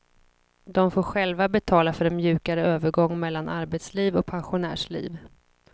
De får själva betala för en mjukare övergång mellan arbetsliv och pensionärsliv.